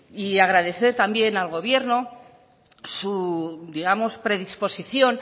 y agradecer también al gobierno su digamos predisposición